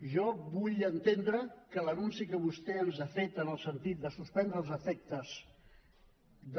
jo vull entendre que l’anunci que vostè ens ha fet en el sentit de suspendre els efectes de